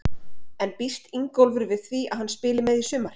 En býst Ingólfur við því að hann spili með í sumar?